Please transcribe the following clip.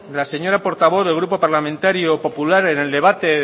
la señora portavoz del grupo parlamentario popular en el debate